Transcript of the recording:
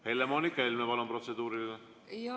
Helle-Moonika Helme, palun, protseduuriline!